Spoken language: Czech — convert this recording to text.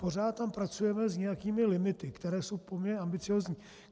Pořád tam pracujeme s nějakými limity, které jsou poměrně ambiciózní.